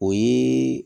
O ye